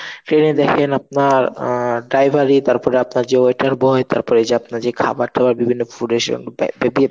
ট্রেনে দেখেন আপনার আ ড্রাইভারি তারপরে আপনার যে waiter boy তারপরে যে আপনার যে খাবার টাবার বিভিন্ন food